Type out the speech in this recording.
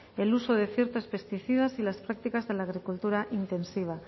el uso de ciertos pesticidas y las prácticas de la agricultura intensiva